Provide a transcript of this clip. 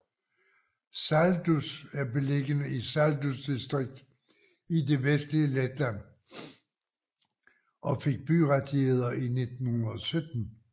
Saldus er beliggende i Saldus distrikt i det vestlige Letland og fik byrettigheder i 1917